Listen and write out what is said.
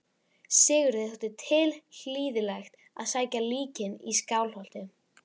Sigurði þótti tilhlýðilegt að sækja líkin í Skálholt.